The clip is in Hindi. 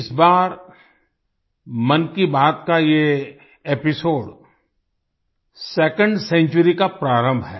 इस बार मन की बात का ये एपिसोड 2nd सेंचुरी का प्रारंभ है